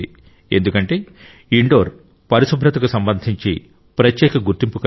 ఎందుకంటే ఇండోర్ పరిశుభ్రతకు సంబంధించి ప్రత్యేక గుర్తింపును కలిగి ఉంది